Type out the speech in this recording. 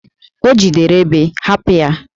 O jidere Ébè, hapụ ya!